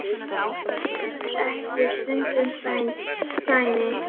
Gler þekur stundum sæinn.